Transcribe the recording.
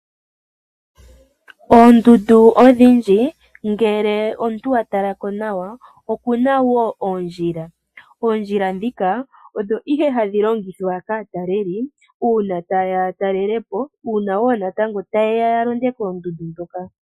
Oondundu odhindji ngele omuntu wa tala ko nawa okuna wo oondjila. Oondjila ndhika odho ihe hadhi longithwa kaatakeli uuna taye ya ya taalele po uuna wo natango taye ya ya londe koondundu ndhoka.